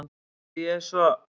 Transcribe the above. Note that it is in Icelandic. Því ég er svo